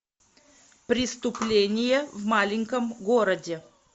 преступление в маленьком городе